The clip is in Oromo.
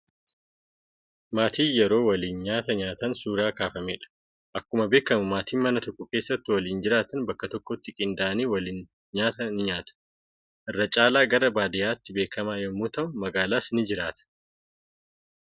Maatiin yeroo waliin nyaata nyaatan suuraa kaafamedha. Akkuma beekamu maatiin mana tokko keessa waliin jiraatan bakka tokkotti qindaa'anii waliin nyaata ni nyaatu. Irra caalaa gara baadiyyaatti beekamaa yommuu ta'u magaalaas ni jiraata.